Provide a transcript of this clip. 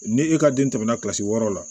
Ni e ka den tɛmɛna wɔɔrɔ la